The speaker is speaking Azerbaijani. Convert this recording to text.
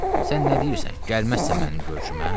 Sən nə deyirsən, gəlməzsən mənim görüşümə?